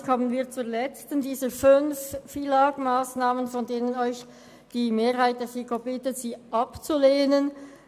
Damit kommen wir zur letzten dieser fünf Massnahmen betreffend das Gesetz über den Finanz- und Lastenausgleich (FILAG), von denen die Mehrheit der FiKo Sie bittet, sie abzulehnen.